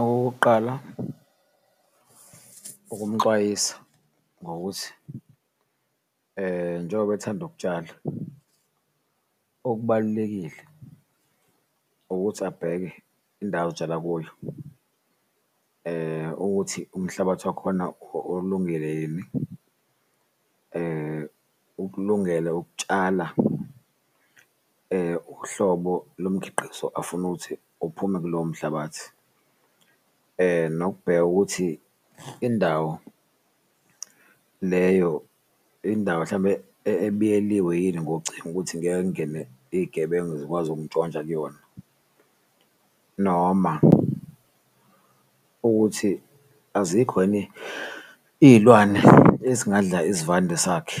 Okokuqala, ukumxwayisa ngokuthi njengoba ethanda ukutshala okubalulekile ukuthi abheke indawo otshala kuyo, ukuthi umhlabathi wakhona ukulungele ukutshala uhlobo lomkhiqizo afuna ukuthi uphume kulowo mhlabathi. Nokubheka ukuthi indawo leyo indawo hlambe ebiyeliwe yini ngocingo ukuthi ngeke kungene iyigebengu zikwazi ukuntshontsha kuyona noma ukuthi azikho yini iyilwane ezingadlala isivande sakhe,